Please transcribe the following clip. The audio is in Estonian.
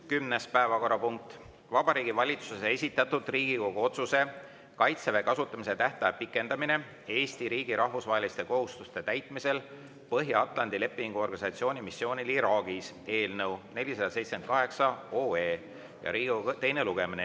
Kümnes päevakorrapunkt: Vabariigi Valitsuse esitatud Riigikogu otsuse "Kaitseväe kasutamise tähtaja pikendamine Eesti riigi rahvusvaheliste kohustuste täitmisel Põhja-Atlandi Lepingu Organisatsiooni missioonil Iraagis" eelnõu 478 teine lugemine.